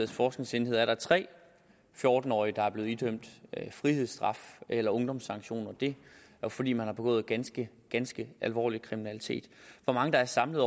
forskningsenhed er der tre fjorten årige der er blevet idømt frihedsstraf eller ungdomssanktioner det er fordi man har begået ganske ganske alvorlig kriminalitet hvor mange der samlet